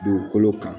Dugukolo kan